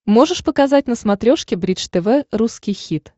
можешь показать на смотрешке бридж тв русский хит